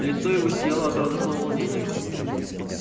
лицо его сияло от радостного волнения